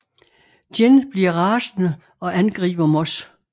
Gin bliver rasende og angriber Moss